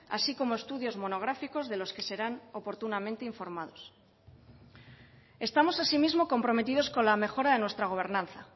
así como estudios monográficos de los que serán oportunamente informados estamos asimismo comprometidos con la mejora de nuestra gobernanza